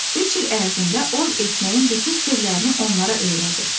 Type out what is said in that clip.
Üç il ərzində ov etməyin bütün sirlərini onlara öyrədir.